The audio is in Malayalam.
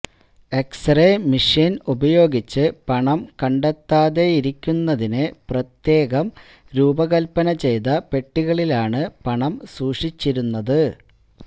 എക്സ് റേ മിഷീന് ഉപയോഗിച്ച് പണം കണ്ടെത്താതെയിരിക്കുന്നതിന് പ്രത്യേകം രൂപകല്പന ചെയ്ത പെട്ടികളിലാണ് പണം സൂക്ഷിച്ചിരുന്നത്